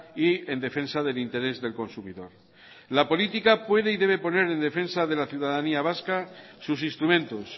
y en defensa del interés del consumidor la política puede y debe poner en defensa de la ciudadanía vasca sus instrumentos